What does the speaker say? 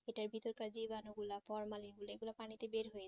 এটা ভীতিকর জীবাণু গুলা পরমালি দেখব পানিতে বেরহয়ে